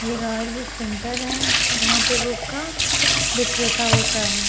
ये Royal Book Centre है जहाँ पे बुक का बिक्रेता होता है।